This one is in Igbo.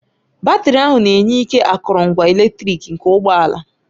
Batrị ahụ na-enye ike akụrụngwa eletrik nke ụgbọ ala.